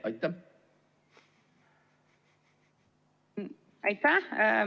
Aitäh!